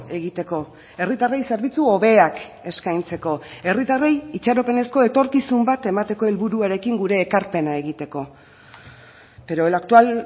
egiteko herritarrei zerbitzu hobeak eskaintzeko herritarrei itxaropenezko etorkizun bat emateko helburuarekin gure ekarpena egiteko pero el actual